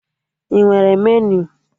Ị nwere meniu?